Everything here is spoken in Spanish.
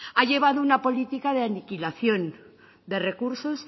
ha llevado una política de aniquilación de recursos